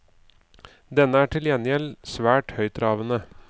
Denne er til gjengjeld svært høytravende.